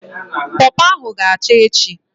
Pọpọ ahụ ga acha echi